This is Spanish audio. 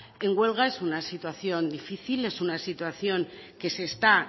en huelga es una situación difícil es una situación que se está